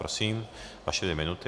Prosím, vaše dvě minuty.